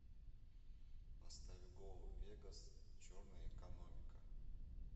поставь гоу вегас черная экономика